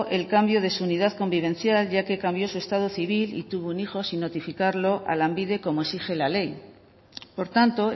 el cambio de su unidad convivencial ya que cambió su estado civil y tuvo un hijo sin notificarlo a lanbide como exige la ley por tanto